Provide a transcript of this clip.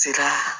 Se ka